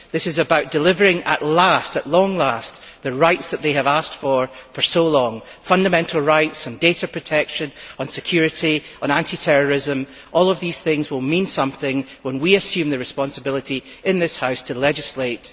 This is about delivering at last at long last the rights that they have asked for for so long fundamental rights on data protection, on security and on anti terrorism. All of these things will mean something when we assume the responsibility in this House to legislate.